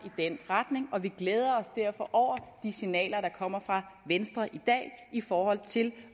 i den retning og vi glæder os derfor over de signaler der kommer fra venstre i dag i forhold til